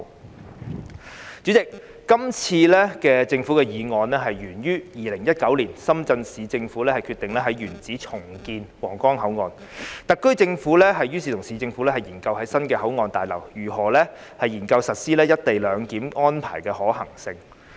代理主席，今次的政府議案源於2019年，深圳市政府決定在原址重建皇崗口岸，特區政府於是與市政府研究在新的口岸大樓，研究實施"一地兩檢"安排的可行性。